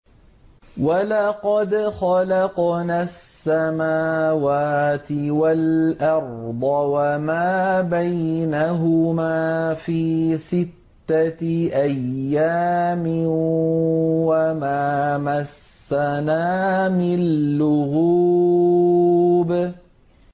وَلَقَدْ خَلَقْنَا السَّمَاوَاتِ وَالْأَرْضَ وَمَا بَيْنَهُمَا فِي سِتَّةِ أَيَّامٍ وَمَا مَسَّنَا مِن لُّغُوبٍ